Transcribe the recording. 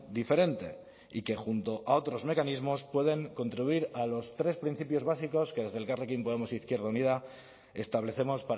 diferente y que junto a otros mecanismos pueden contribuir a los tres principios básicos que desde elkarrekin podemos izquierda unida establecemos